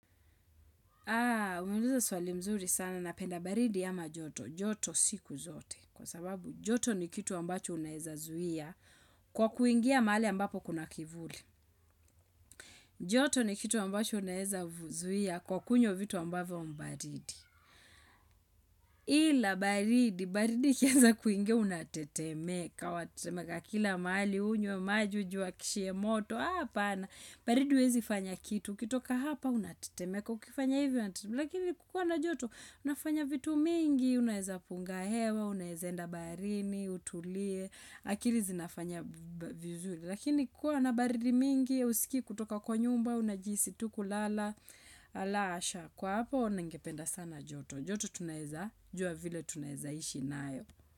Haa, umeuliza swali mzuri sana napenda baridi ama joto. Joto siku zote. Kwa sababu joto ni kitu ambacho unaeza zuia kwa kuingia mahali ambapo kuna kivuli. Joto ni kitu ambacho unaeza zuia kwa kunywa vitu ambavyo ni baridi. Ila baridi, baridi ikianza kuingia unatetemeka Kwa atetemeka kila mahali, hunywa, maji, ujiwakishie moto Hapana, baridi huwezi fanya kitu ukitoka hapa unatetemeka, ukifanya hivyo Lakini kukuwa na joto, unafanya vitu mingi Unaeza punga hewa, unaeza enda barini, utulie akili zinafanya vizuri. Lakini kuwa na baridi mingi, hausikii kutoka kwa nyumba. Unajihisi tu kulala, ala asha Kwa hapa, ningependa sana joto. Joto tunaweza, jua vile tunaweza ishi nayo.